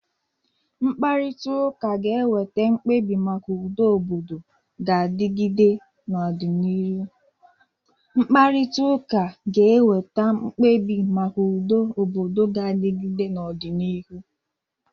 Mkparịta ụka ga-eweta mkpebi maka udo obodo ga-adịgide n'ọdịnihu.